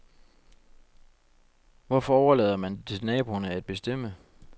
Hvorfor overlader man det til naboerne at bestemme.